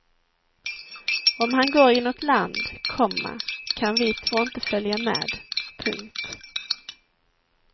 Om han går inåt land, komma kan vi två inte följa med. punkt